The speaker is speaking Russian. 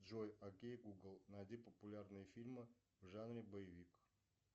джой окей гугл найди популярные фильмы в жанре боевик